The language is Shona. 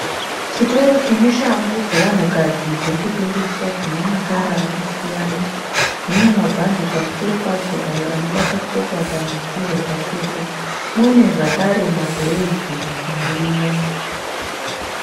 Chitoro chine shangu dzevamunhukadzi dzirikutengeswa, dzine makara akasiyana , dzine mabhadhi pamusoro padzo ayo anobata tsoka kana dzichinge dzapfekwa. mune zvakare mabhureyidzi arimo.